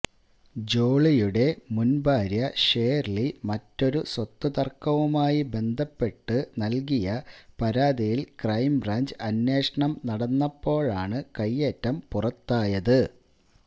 ജോളിയുടെ മുന് ഭാര്യ ഷേര്ളി മറ്റൊരു സ്വത്തുതര്ക്കവുമായി ബന്ധപ്പെട്ട് നല്കിയ പരാതിയില് ക്രൈംബ്രാഞ്ച് അന്വേഷണം നടന്നപ്പോഴാണ് കൈയേറ്റം പുറത്തായത്